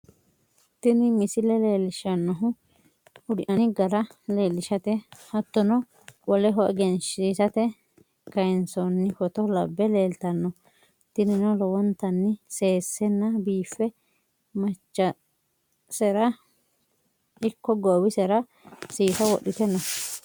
Tini misile leelishanohu udi'nanni gara leelishate hatono woleho eggensisate kayi'nsonni foto labe leelitano, tinino lowontanni seesenna biife machasera ikko goowisera seesa wodhite no